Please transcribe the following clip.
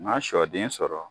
Ma sɔ den sɔrɔ